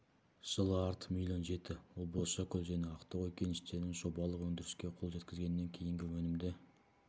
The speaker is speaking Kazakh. жылы артып миллион жетті ол бозшакөл және ақтоғай кеніштерінің жобалық өндіріске қол жеткізгеннен кейінгі өнімді